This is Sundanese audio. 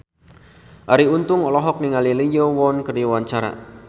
Arie Untung olohok ningali Lee Yo Won keur diwawancara